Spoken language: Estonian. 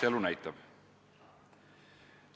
Eks elu näitab.